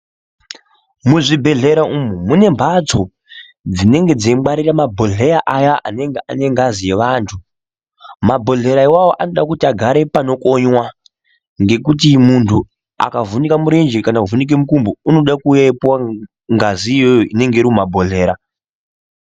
Muzvibhedhlera umu mune mphatso dzinenge dzeingwarira mabhodhleya aya anenge ane ngazi yevanthu mabhodhleya awawo anoda kuti agare panokonywa ngekuti munthu akavhunike murenje kana kuvhunike mukumbo unoda kuuya eipuwa ngazi iyoyo inonga iri mumabhodhlera.